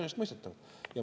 Enesestmõistetav!